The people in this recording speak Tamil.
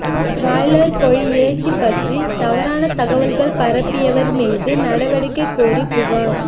பிராய்லா் கோழி இறைச்சி பற்றி தவறான தகவல் பரப்பியவா் மீது நடவடிக்கை கோரி புகாா்